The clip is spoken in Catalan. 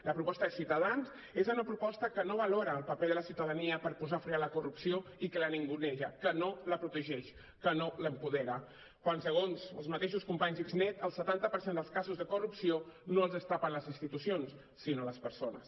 la proposta de ciutadans és una proposta que no valora el paper de la ciutadania per posar fre a la corrupció i que la ninguneja que no la protegeix que no l’apodera quan segons els mateixos companys d’xnet el setanta per cent dels casos de corrupció no els destapen les institucions sinó les persones